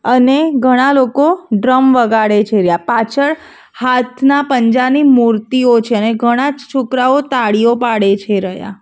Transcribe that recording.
અને ઘણા લોકો ડ્રમ વગાડે છે રહ્યા પાછળ હાથના પંજા ની મૂર્તિઓ છે અને ઘણા જ છોકરાઓ તાળીઓ પાડે છે રહ્યા.